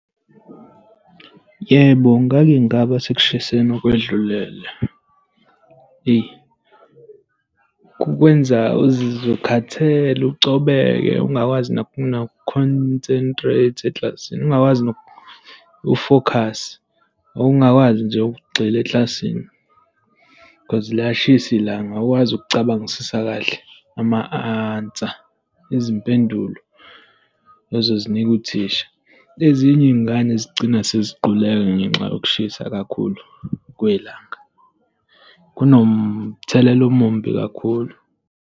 Yebo, ngake ngaba sekushiseni okwedlulele. Eyi, kukwenza uzizwe ukhathele, ucobeke, ungakwazi noku-concentrate eklasini, ungakwazi noku-focus, ungakwazi nje ukugxila eklasini, cause liyashisa ilanga. Awukwazi ukucabangisisa kahle ama-answer, izimpendulo, ozozinika uthisha. Ezinye iy'ngane zigcina seziquleka ngenxa yokushisa kakhulu kwelanga. Kunomthelela omumbi kakhulu.